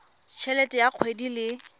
t helete ya kgwedi le